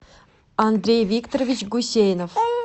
андрей викторович гусейнов